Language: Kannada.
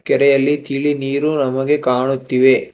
ಕೆರೆಯಲ್ಲಿ ತಿಳಿ ನೀರು ನಮಗೆ ಕಾಣುತ್ತಿವೆ.